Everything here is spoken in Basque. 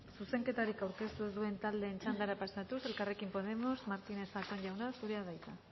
zuzenketarik aurkeztu ez duen taldeen txandara pasatuz elkarrekin podemos martínez zatón jauna zurea da hitza